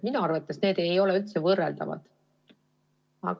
Minu arvates ei ole need võrreldavad.